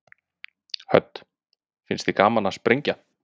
Hödd: Finnst þér gaman að sprengja?